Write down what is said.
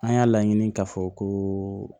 An y'a laɲini k'a fɔ ko